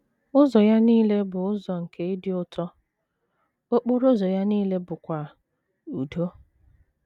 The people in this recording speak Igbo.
Ụzọ ya nile bụ ụzọ nke ịdị ụtọ, okporo ụzọ ya nile bụkwa udo.